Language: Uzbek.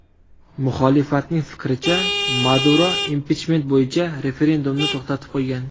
Muxolifatning fikricha, Maduro impichment bo‘yicha referendumni to‘xtatib qo‘ygan.